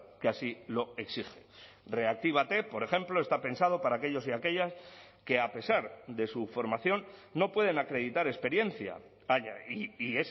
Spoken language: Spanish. que así lo exige reactívate por ejemplo está pensado para aquellos y aquellas que a pesar de su formación no pueden acreditar experiencia y